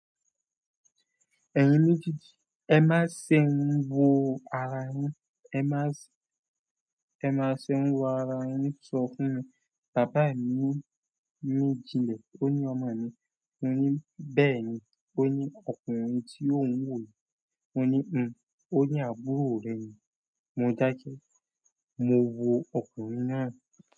Ẹ̀yin méjeejìí, ẹ má ṣe ń wo ara yín, ẹ má ṣe, ẹ má ṣe ń wo ara yín. Sọ fún mi, bàbá mi ní, ní jinlẹ̀. Ó ní ọmọ ni. Mo ní bẹ́ẹ̀ni. Ó ní ọkùnrin tí ó ń wò yìí. Mo ní hm, ó ní àbúrò rẹ ni. Mo dákẹ́. Mo wo ọkùnrin náà.